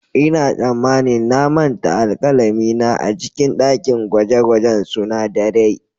Ina tsammanin na manta alkalami na a cikin dakin gwaje-gwajen sunadarai.